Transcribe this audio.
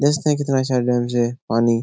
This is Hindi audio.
देखते हैं कितना अच्छा डेम्स है पानी --